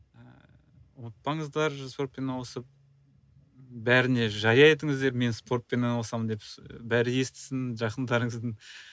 ыыы ұмытпаңыздар спортпен айналысып бәріне жария етіңіздер мен спортпен айналысамын деп бәрі естісін жақындарыңыздың